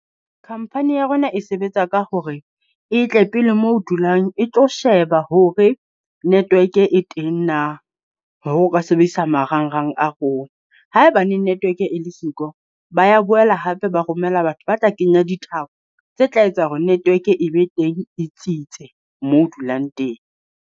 Khampani ya rona e sebetsa ka hore e tle pele mo o dulang, e tlo sheba hore network e teng na hore o ka sebedisa marangrang a rona. Haebaneng network e le siko, ba ya boela hape ba romela batho ba tla kenya dithapo, tse tla etsa hore network e be teng, e tsitse moo o dulang teng.